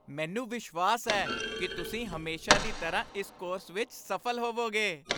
ਮੈਨੂੰ ਵਿਸ਼ਵਾਸ ਹੈ ਕਿ ਤੁਸੀਂ ਹਮੇਸ਼ਾ ਦੀ ਤਰ੍ਹਾਂ ਇਸ ਕੋਰਸ ਵਿੱਚ ਸਫ਼ਲ ਹੋਵੋਗੇ।